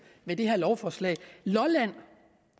med det her lovforslag lolland